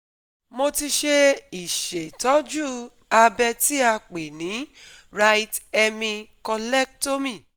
Mo ti ṣe ìṣètọ́jú abẹ́ tí a pè ní right hemi collectomy